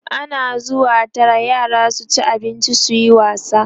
ana zuwa Tara yara su ci abinci suyi wasa